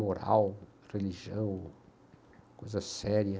moral, religião, coisa séria.